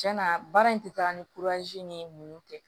Cɛn na baara in tɛ taa ni ni mu tɛ